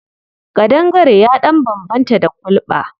Ƙandangare ya ɗan bambanta da kulɓa.